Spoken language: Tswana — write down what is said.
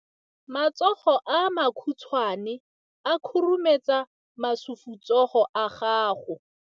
Matsogo a makhutshwane a khurumetsa masufutsogo a gago.